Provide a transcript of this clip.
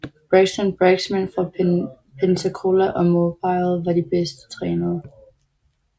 Braxton Braggs mænd fra Pensacola og Mobile var de bedst trænede